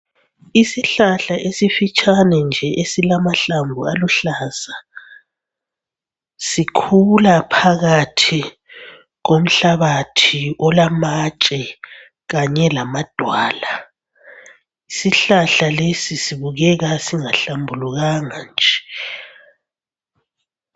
Isihlahla esifitshane nje esilamahlamvu aluhlaza. Sikhula phakathi komhlabathi olamatshe kanye lamadwala. Isihlahla lesi sibukeka singahlambulukanga nje.